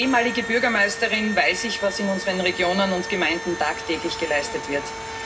Als ehemalige Bürgermeisterin weiß ich, was in unseren Regionen und Gemeinden tagtäglich geleistet wird.